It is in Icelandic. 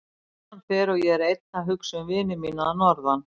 Konan fer og ég er einn að hugsa um vini mína að norðan.